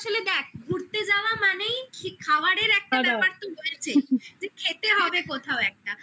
হ্যাঁ চন্দননগরে গেলাম আসলে দেখ ঘুরতে যাওয়া মানেই খাবারের একটা ব্যাপার তো রয়েছে যে খেতে হবে কোথাও একটা